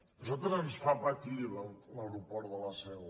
a nosaltres ens fa patir l’aeroport de la seu